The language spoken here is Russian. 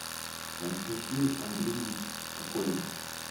константин андреевич кокорин